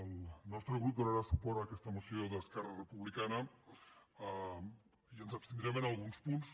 el nostre grup do·narà suport a aquesta moció d’esquerra republicana i ens abstindrem en alguns punts